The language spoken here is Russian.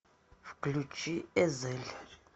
включи эзель